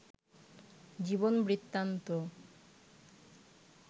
জীবন বৃত্তান্ত